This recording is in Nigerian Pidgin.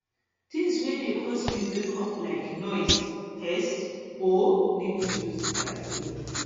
things wey dey cause me wake up like noise thirst or di need to use di bathroom